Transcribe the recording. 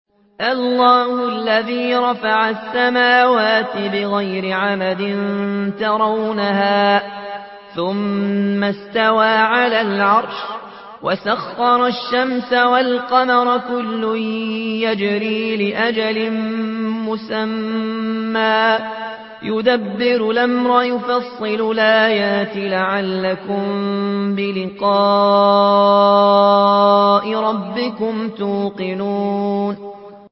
اللَّهُ الَّذِي رَفَعَ السَّمَاوَاتِ بِغَيْرِ عَمَدٍ تَرَوْنَهَا ۖ ثُمَّ اسْتَوَىٰ عَلَى الْعَرْشِ ۖ وَسَخَّرَ الشَّمْسَ وَالْقَمَرَ ۖ كُلٌّ يَجْرِي لِأَجَلٍ مُّسَمًّى ۚ يُدَبِّرُ الْأَمْرَ يُفَصِّلُ الْآيَاتِ لَعَلَّكُم بِلِقَاءِ رَبِّكُمْ تُوقِنُونَ